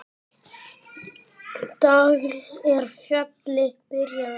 Tagl er fjalli byrjun á.